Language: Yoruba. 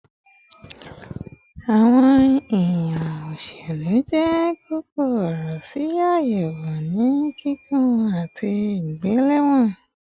Awọn yiyan oloselu jẹ koko ọrọ si ayewo ni kikun ati igbelewọn